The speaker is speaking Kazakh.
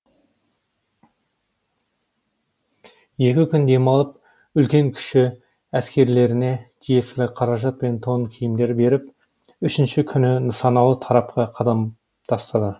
екі күн демалып үлкен кіші әскерлеріне тиесілі қаражат пен тон киімдер беріп үшінші күні нысаналы тарапқа қадам тастады